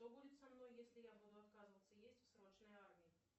что будет со мной если я буду отказываться есть в срочной армии